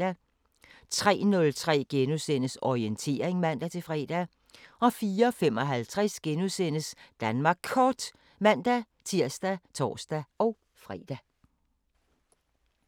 03:03: Orientering *(man-fre) 04:55: Danmark Kort *(man-tir og tor-fre)